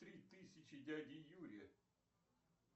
три тысячи дяде юре